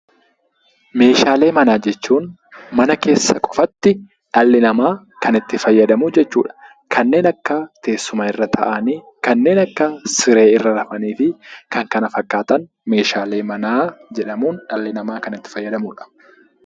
Meeshaalee manaa jechuun mana keessa qofatti dhalli namaa kan itti fayyadamu jechuudha. Kanneen akka teessuma irra taa'anii, kanneen akka siree irra rafanii fikan kana fakkaatan meeshaalee manaa jedhamuun kan dhalli namaa itti fayyadamudha.